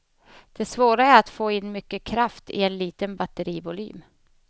Det svåra är att få in mycket kraft i en liten batterivolym.